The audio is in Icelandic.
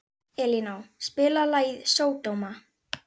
Elíná, spilaðu lagið „Sódóma“.